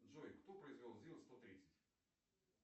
джой кто произвел зил сто тридцать